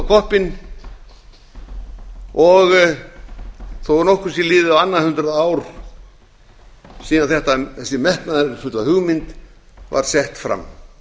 koppinn þó að nokkuð sé liðið á annað hundrað ár síðan þessi metnaðarfulla hugmynd var sett fram